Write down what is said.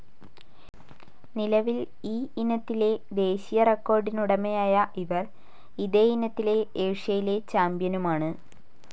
നിലവിൽ ഈ ഇനത്തിലെ ദേശീയ റെക്കോഡിനുടമയായ ഇവർ ഇതേ ഇനത്തിലെ ഏഷ്യയിലെ ചാമ്പ്യനുമാണ്.